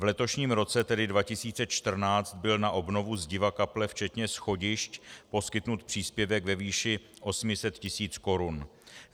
V letošním roce, tedy 2014, byl na obnovu zdiva kaple včetně schodišť poskytnut příspěvek ve výši 800 tis. korun.